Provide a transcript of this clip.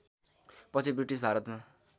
पछि ब्रिटिस भारतमा